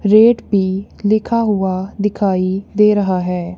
Rate P लिखा हुआ दिखाई दे रहा है।